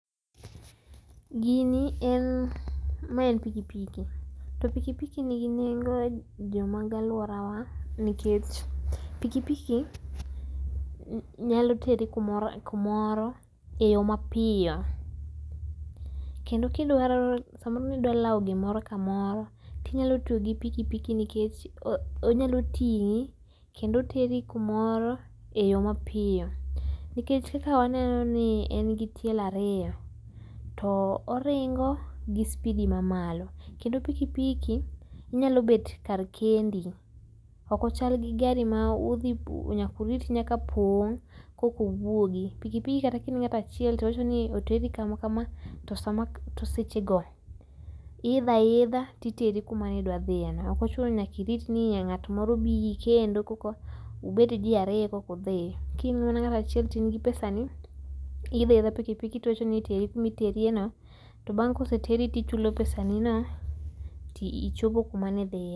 Gini en ,mae en pikipiki to pikipiki nigi nengo e jomago aluorawa nikech pikipiki nyalo teri kumo, kumoro e yoo mapiyo kendi kidwaro samoro nidwa lao gimoro kamoro tinyalo tiyo gi pikipiki nikech onyalo tingi kendo oteri kumoro e yoo mapiyo, nikech kaka waneno ni en gi tielo ariyo, to oringo gi spidi mamalo kendo pikipiki inyalo bet kar kendi ok ochal gi gari ma udhi nyaka urit nyaka pong korka uwuogi, pikipiki kata kain ngata chiel tiwacho ni oteri kama kama to sama, to seche go iidho aidha titeri kama nidwa idhiye no ok ochuno nyaka iit ni ngat moro bi kendo koka ubet jii ariyo korka undi, ki in ngata achiel toin gi pesa ni ti iidho aidha pikipiki tiwachoni iteri kuma iterie no to bang koseteri tichulo pesani ni no tichopo kuma ne idhiye